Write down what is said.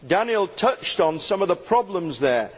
Daniel touched on some of the problems there.